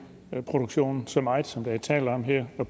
produktionen så meget som der er tale om her